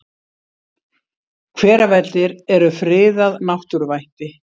Hveravellir eru friðað náttúruvætti.